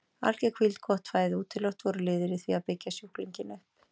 Alger hvíld, gott fæði og útiloft voru liðir í því að byggja sjúklinginn upp.